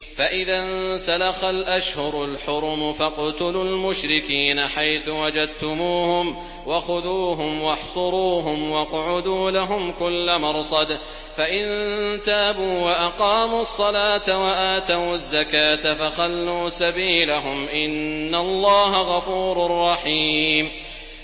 فَإِذَا انسَلَخَ الْأَشْهُرُ الْحُرُمُ فَاقْتُلُوا الْمُشْرِكِينَ حَيْثُ وَجَدتُّمُوهُمْ وَخُذُوهُمْ وَاحْصُرُوهُمْ وَاقْعُدُوا لَهُمْ كُلَّ مَرْصَدٍ ۚ فَإِن تَابُوا وَأَقَامُوا الصَّلَاةَ وَآتَوُا الزَّكَاةَ فَخَلُّوا سَبِيلَهُمْ ۚ إِنَّ اللَّهَ غَفُورٌ رَّحِيمٌ